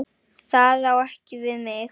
Það á ekki við mig.